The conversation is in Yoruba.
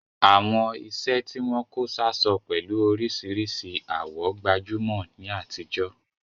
Àwọn iṣẹ́ tí wọ́n kó sáṣọ pẹ̀lú oríṣìíríṣìí àwọ̀ gbajúmọ̀ ní àtijọ́.